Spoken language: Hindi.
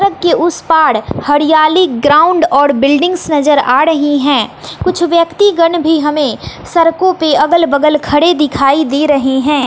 सड़क के उस पाड़ हरियाली ग्राउंड और बिल्डिंग्स नजर आ रही हैं कुछ व्यक्तिगण भी हमें सरकों पर खड़े अगल बगल दिखाई दे रहे हैं।